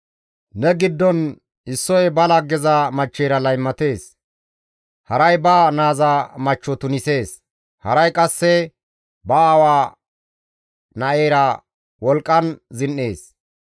Ne giddon issoy ba laggeza machcheyra laymatees; haray ba naaza machcho tunisees; haray qasse ba aawa na7eyra wolqqan zin7ees.